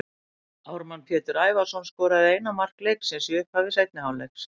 Ármann Pétur Ævarsson skoraði ein mark leiksins í upphafi seinni hálfleiks.